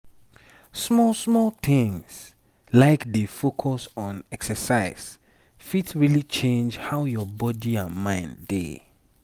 small small things like dey focus on exercise fit really change how your body and mind dey.